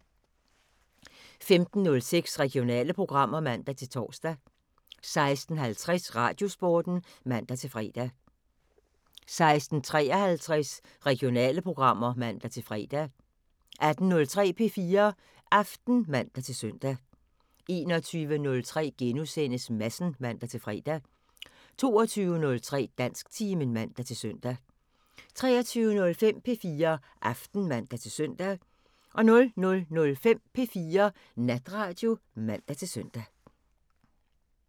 15:06: Regionale programmer (man-tor) 16:50: Radiosporten (man-fre) 16:53: Regionale programmer (man-fre) 18:03: P4 Aften (man-søn) 21:03: Madsen *(man-fre) 22:03: Dansktimen (man-søn) 23:05: P4 Aften (man-søn) 00:05: P4 Natradio (man-søn)